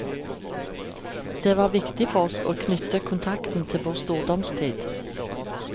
Det var viktig for oss å knyte kontakten til vår stordomstid.